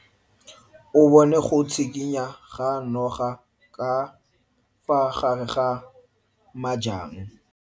O bone go tshikinya ga noga ka fa gare ga majang.